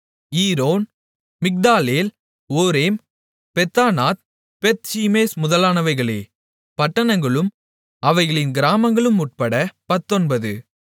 iron மிக்தாலேல் ஓரேம் பெத்தானாத் பெத்ஷிமேஸ் முதலானவைகளே பட்டணங்களும் அவைகளின் கிராமங்களும் உட்பட பத்தொன்பது